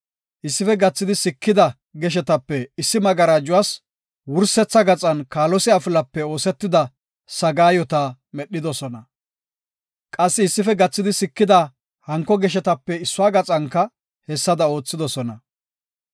Issife gathidi sikida geshetape issi magarajuwas wursetha gaxan kaalose afilape oosetida sagaayota medhidosona. Qassi issife gathidi sikida hanko geshetape issuwa gaxanka hessada oothidosona.